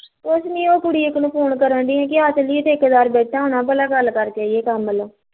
ਕੁਸ਼ ਨੀ ਉਹ ਕੁੜੀ ਇੱਕ ਨੂੰ phone ਕਰਨ ਡਈ ਸੀ ਕੀ ਆ ਚੱਲੀਏ ਠੇਕੇਦਾਰ ਬੈਠਾ ਹੁਣਾ ਭਲਾ ਗੱਲ ਕਰਕੇ ਆਈਏ ਕੰਮ ਨੂੰ